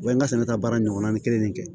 U bɛ n ka sɛnɛ ka baara ɲɔgɔnna kelen de kɛ